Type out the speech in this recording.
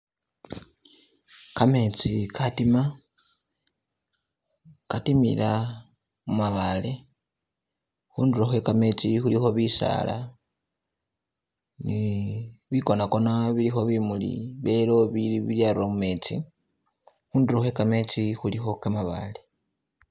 Kametsi katima katimila mumabale , khundulo khwe kametsi khulikho bisala ne bikona Kona bilikho bimuli bye yellow bya rula mumetsi, khundulo khwe kametsi khulikho kamabale